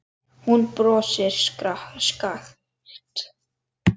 Hún brosir skakkt.